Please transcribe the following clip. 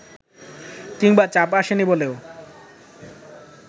কিংবা চাপ আসেনি বলেও